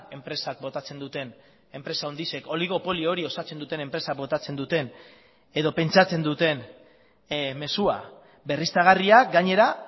enpresak botatzen duten enpresa handixek oligopolio hori osatzen duten enpresa botatzen duten edo pentsatzen duten mezua berriztagarriak gainera